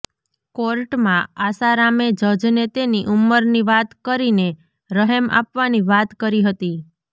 કોર્ટમાં આસારામે જજને તેની ઉંમરની વાત કરીને રહેમ આપવાની વાત કરી હતી